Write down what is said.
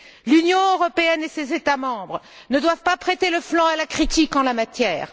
L'Union européenne et ses États membres ne doivent pas prêter le flanc à la critique en la matière.